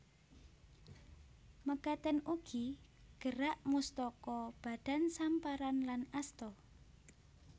Mekaten ugi gerak mustaka badan samparan lan asta